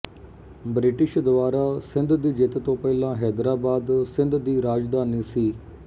British ਦੁਆਰਾ ਸਿੰਧ ਦੀ ਜਿੱਤ ਤੋਂ ਪਹਿਲਾਂ ਹੈਦਰਾਬਾਦ ਸਿੰਧ ਦੀ ਰਾਜਧਾਨੀ ਸੀ